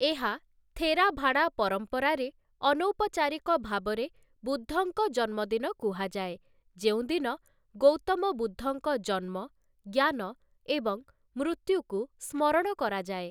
ଏହା ଥେରାଭାଡା ପରମ୍ପରାରେ, ଅନୌପଚାରିକ ଭାବରେ ବୁଦ୍ଧଙ୍କ ଜନ୍ମଦିନ କୁହାଯାଏ ।ଯେଉଁଦିନ ଗୌତମ ବୁଦ୍ଧଙ୍କ ଜନ୍ମ, ଜ୍ଞାନ ଏବଂ ମୃତ୍ୟୁକୁ ସ୍ମରଣ କରାଯାଏ ।